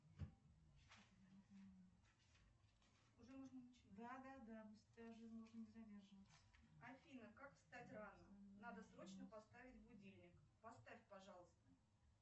афина как встать рано надо срочно поставить будильник поставь пожалуйста